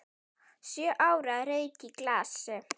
Sjö ára rautt í glasi.